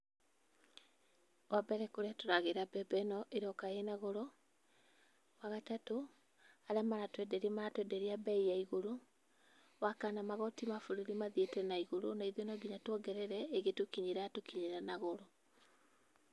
Wa mbere, kũrĩa tũragĩĩra mbembe ĩno, ĩroka ĩna goro. Wagatatũ, arĩa maratwenderia maratwenderia bei ya igũrũ. Wa kana, magoti ma bũrũri mathiĩte na igũrũ na ithuĩ no nginya twongerere, ĩgĩtukinyĩra, ĩratukinyĩra na goro.